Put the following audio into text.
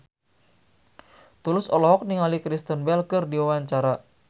Tulus olohok ningali Kristen Bell keur diwawancara